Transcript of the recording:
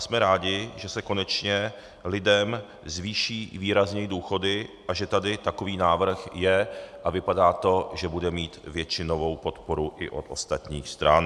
Jsme rádi, že se konečně lidem zvýší výrazněji důchody a že tady takový návrh je a vypadá to, že bude mít většinovou podporu i od ostatních stran.